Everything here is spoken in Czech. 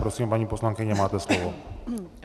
Prosím, paní poslankyně, máte slovo.